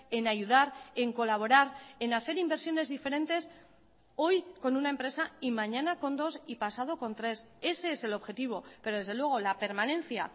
en ayudar en colaborar en hacer inversiones diferentes hoy con una empresa y mañana con dos y pasado con tres ese es el objetivo pero desde luego la permanencia